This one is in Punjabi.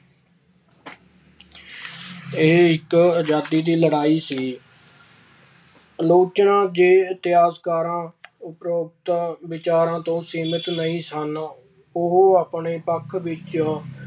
ਇਹ ਇੱਕ ਆਜ਼ਾਦੀ ਦੀ ਲੜਾਈ ਸੀ। ਆਲੋਚਨਾ ਜੋ ਇਤਿਹਾਸਕਾਰ ਉਪਰੋਕਤ ਵਿਚਾਰਾਂ ਤੋਂ ਸਹਿਮਤ ਨਹੀਂ ਸਨ, ਉਹ ਆਪਣੇ ਪੱਖ ਵਿੱਚ